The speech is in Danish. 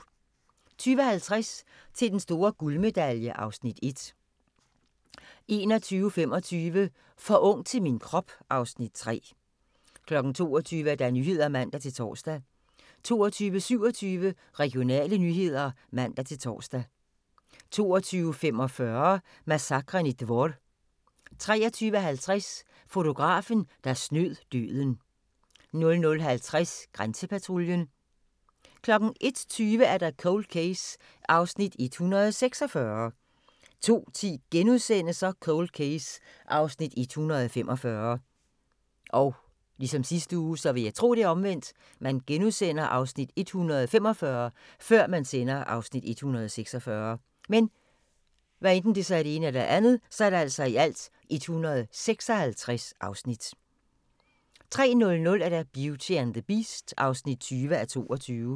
20:50: Til den store guldmedalje (Afs. 1) 21:25: For ung til min krop (Afs. 3) 22:00: Nyhederne (man-tor) 22:27: Regionale nyheder (man-tor) 22:45: Massakren i Dvor 23:50: Fotografen, der snød døden 00:50: Grænsepatruljen 01:20: Cold Case (146:156) 02:10: Cold Case (145:156)* 03:00: Beauty and the Beast (20:22)